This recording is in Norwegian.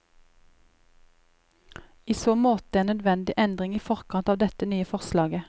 I så måte en nødvendig endring i forkant av dette nye forslaget.